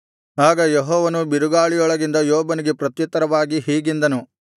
ಆಗ ಯೆಹೋವನು ಬಿರುಗಾಳಿಯೊಳಗಿಂದ ಯೋಬನಿಗೆ ಪ್ರತ್ಯುತ್ತರವಾಗಿ ಹೀಗೆಂದನು